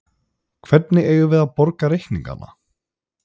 Hvernig eigum við að borga reikningana?